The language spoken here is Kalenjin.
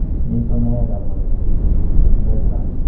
Niiton ne yae kabwanet kosir en biik chetindo TRAPS.